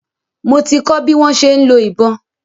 Mo ti kọ́ bi wọ́n ṣe ń lo ìbọn.